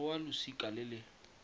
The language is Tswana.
go wa losika le le